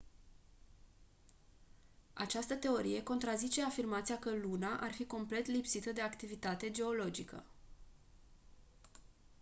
această teorie contrazice afirmația că luna ar fi complet lipsită de activitate geologică